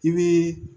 I bɛ